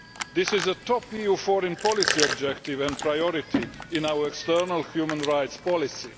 This is a top EU foreign policy objective and priority in our external human rights policy.